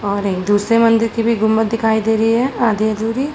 और एक दूसरे मन्दिर की भी गुम्बद दिखाई दे रही है आधी अधूरी।